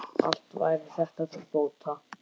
Allt væri þetta til bóta.